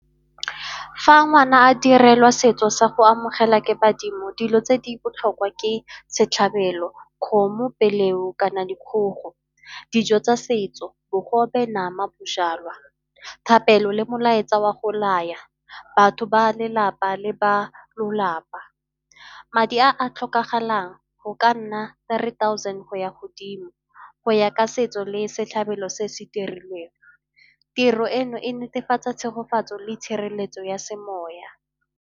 Fa ngwana a direlwa setso sa go amogela ke badimo, dilo tse di botlhokwa ke setlhabelo, kgomo, kana dikgogo. Dijo tsa setso bogobe, nama, bojalwa. Thapelo le molaetsa wa go laya batho ba lelapa le ba lolapa. Madi a a tlhokagalang go ka nna three thousand go ya godimo, go ya ka setso le setlhabelo se se dirilweng. Tiro eno e netefatsa tshegofatso le tshireletso ya semoya.